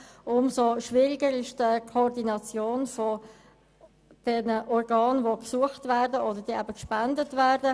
Umso schwieriger ist die Koordination zwischen den benötigten und den gespendeten Organen.